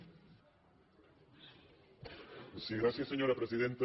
sí gràcies senyora presidenta